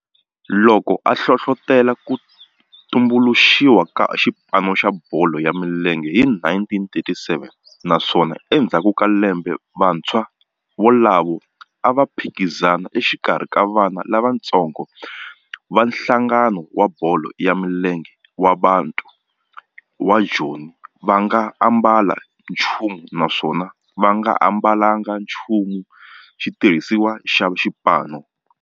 loko a hlohlotela ku tumbuluxiwa ka xipano xa bolo ya milenge hi 1937 naswona endzhaku ka lembe vantshwa volavo a va phikizana exikarhi ka vana lavatsongo va nhlangano wa bolo ya milenge wa Bantu wa Joni va nga ambalanga nchumu naswona va nga ambalanga nchumu xitirhisiwa xa xipano.